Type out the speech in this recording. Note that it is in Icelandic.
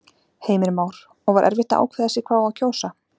Heimir Már: Og var erfitt að ákveða sig hvað á að kjósa?